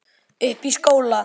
Uppi í skóla.